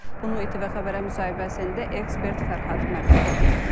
Bunu İTV Xəbərə müsahibəsində ekspert Fərhad Məmmədov deyib.